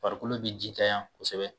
Farikolo bi jitanyan kosɛbɛ